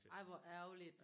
Ej hvor ærgerligt